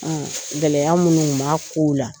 gɛlɛya munnu ŋu m'a kow la